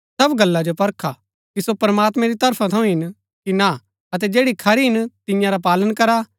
सब गल्ला जो परखा कि सो प्रमात्मैं री तरफा थऊँ हिन कि ना अतै जैड़ी खरी हिन तियां रा पालन करा